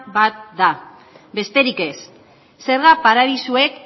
bat da besterik ez zerga paradisuek